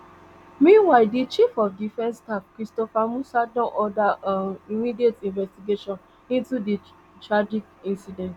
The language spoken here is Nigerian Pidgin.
meanwhile di chief of defence staff christopher musa don order um immediate investigation into di tragic incident